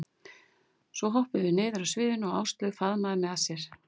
Svo hoppuðum við niður af sviðinu og Áslaug faðmaði mig að sér.